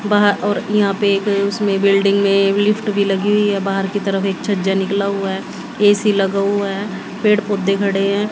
बाहर और यहा पे अ उसमें बिल्डिंग में लिफ्ट भी लगी हुई है बाहर की तरफ एक छज्जा निकला हुआ है ए_सी लगा हुआ है पेड़ पौधे खड़े है।